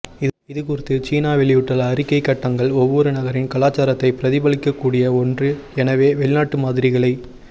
இது குறித்து சீனா வெளியிட்டுள்ள அறிக்கைகட்டங்கள் ஒவ்வொரு நகரின் கலாசாரத்தை பிரதிபலிக்கக்கூடிய ஒன்று எனவே வெளிநாட்டு மாதிரிகளை